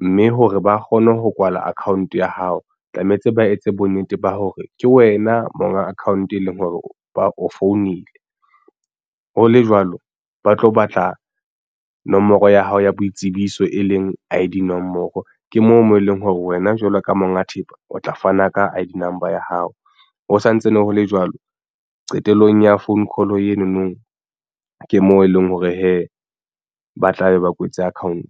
mme hore ba kgone ho kwala account ya hao tlametse ba etse bonnete ba hore ke wena monga account e leng hore ba o founile ho le jwalo ba tlo batla nomoro ya hao ya boitsebiso e leng I_D nomoro ke moo mo e leng hore wena jwalo ka monga thepa o tla fana ka I_D number ya hao ho santse ne ho le jwalo qetellong ya phone call eno no ke moo e leng hore hee ba tlabe ba kwetse account.